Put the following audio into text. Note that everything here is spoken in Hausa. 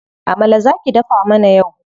Amala za ki dafa mana yau.